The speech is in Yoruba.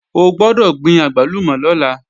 O gbọ́dọ̀ gbin àgbálùmọ̀ lọ́la!